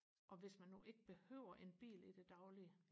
og hvis man nu ikke behøver en bil i det daglige